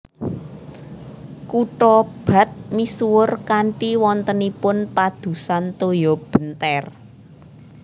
Kutha bath misuwur kanthi wontenipun padusan toya benter